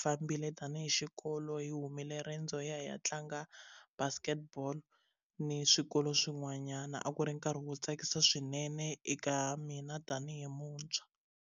fambile tanihi xikolo hi humile riendzo hi ya hi ya tlanga basket ball ni swikolo swin'wanyana a ku ri nkarhi wo tsakisa swinene eka mina tanihi muntshwa.